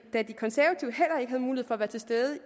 havde mulighed for at være til stede